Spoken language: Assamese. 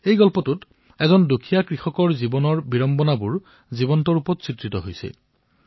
এই কাহিনীত এজন দুখীয়া কৃষকৰ জীৱনৰ বিড়ম্বনাৰ সজীৱ চিত্ৰণ দেখিবলৈ পোৱা হৈছে